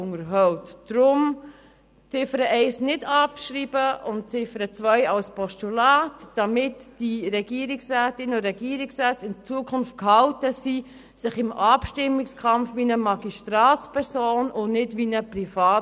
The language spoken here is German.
Deshalb bitte die Ziffer 1 nicht abschreiben und die Ziffer 2 als Postulat annehmen, damit die Regierungsrätinnen und Regierungsräte in Zukunft